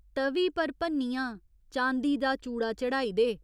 त'वी पर भन्नियां चांदी दा चूड़ा चढ़ाई दे।